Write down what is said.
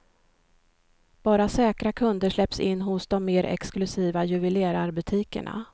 Bara säkra kunder släpps in hos de mer exklusiva juvelerarbutikerna.